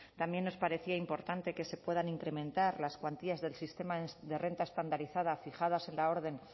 también nos parecía importante que se puedan incrementar las cuantías del sistema de renta estandarizada fijadas en la orden